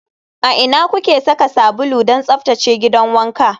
A ina kuke saka sabulu don tsaftace gidan wanka?